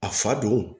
A fa don